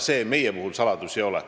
See meie erakonnas saladus ei ole.